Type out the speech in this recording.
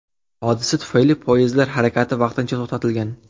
Hodisa tufayli poyezdlar harakati vaqtincha to‘xtatilgan.